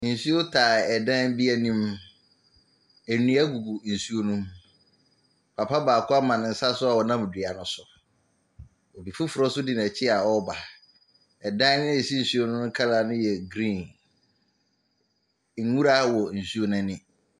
Nsuo tae dan bi anim, nnua gu nsuo ne mu, papa baako ama ne nsa so a ɔnam dua ne so. Obi foforɔ nso di n’akyi a ɔreba. Dan a ɛsi nsuo no ne colour ne yɛ green. Nwura wɔ nsuo n’ani.